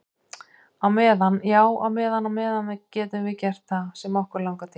Á meðan, já á meðan á meðan getum við gert það sem okkur langar til.